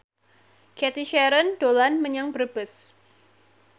Cathy Sharon dolan menyang Brebes